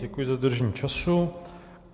Děkuji za dodržení času.